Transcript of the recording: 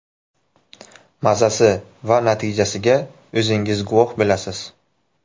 Mazasi va natijasiga o‘zingiz guvoh bo‘lasiz.